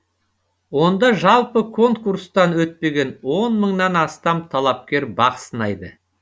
онда жалпы конкурстан өтпеген он мыңнан астам талапкер бақ сынайды